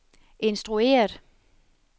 instrueret